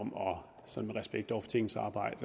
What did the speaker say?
om sådan i respekt for tingets arbejde